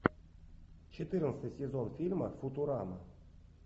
четырнадцатый сезон фильма футурама